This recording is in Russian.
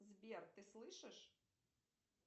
сбер ты слышишь